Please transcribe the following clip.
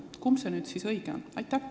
Kumb see nüüd siis õige on?